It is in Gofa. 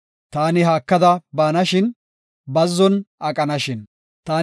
Taani haakada baanashin; bazzon aqanashin. Salaha